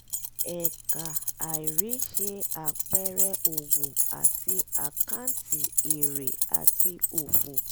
fi ẹ̀ẹ̀kà àìrí ṣe àpẹẹrẹ òwò àti àkáǹtì èrè àti òfò.